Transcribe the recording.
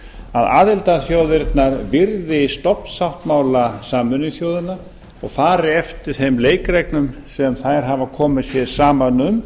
að aðildarþjóðirnar virði stofnsáttmála sameinuðu þjóðanna og fari eftir þeim leikreglum sem þær hafa komið sér saman um